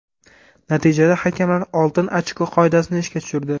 Natijada hakamlar oltin ochko qoidasini ishga tushirdi.